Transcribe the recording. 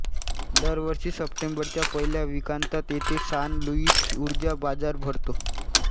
दर वर्षी सप्टेंबरच्या पहिल्या वीकांतात येथे सान लुइस उर्जा बाजार भरतो